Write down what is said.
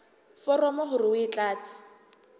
foromo hore o e tlatse